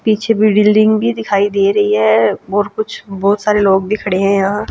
पीछे बिल्डिंग भी दिखाई दे रहीं हैं। बहोत कुछ बहोत सारे लोग भी खड़े हैं यहाॅं।